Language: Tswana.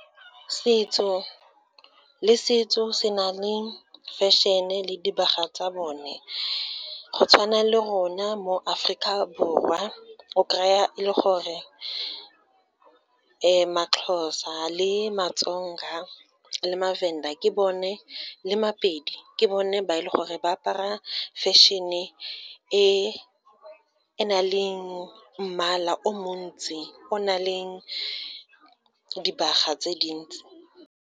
Setso le setso se na le fashion-e le dibaga tsa bone, go tshwana le rona mo Aforika Borwa, o kry-a e le gore maXhosa le maTsonga, le maVenda, le maPedi ke bone ba e leng gore ba apara fashion-e e nang le mmala o montsi, o nang le dibaga tse dintsi.